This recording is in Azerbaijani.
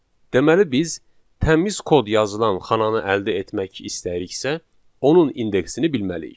Deməli biz təmiz kod yazılan xananı əldə etmək istəyiriksə, onun indeksini bilməliyik.